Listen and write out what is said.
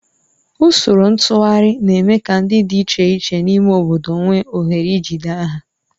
Usoro ntụgharị na-eme ka ndị dị iche iche n'ime obodo nwee ohere ijide aha